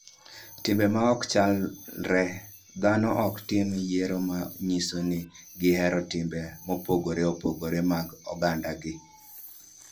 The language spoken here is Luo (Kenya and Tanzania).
Timbe ma ok chalre: Dhano ok tim yiero ma nyiso ni gihero timbe mopogore opogore mag ogandagi.